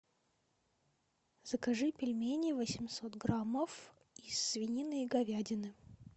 закажи пельмени восемьсот граммов из свинины и говядины